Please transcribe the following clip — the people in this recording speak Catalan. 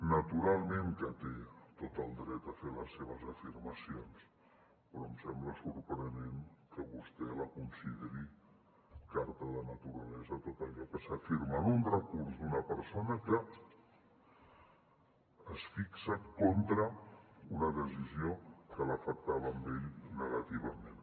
naturalment que té tot el dret a fer les seves afirmacions però em sembla sorprenent que vostè consideri carta de naturalesa tot allò que s’afirma en un recurs d’una persona que es fixa contra una decisió que l’afectava a ell negativament